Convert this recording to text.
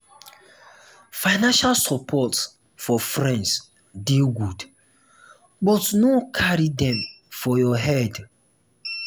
financial support for friends dey good but no carry dem for your head.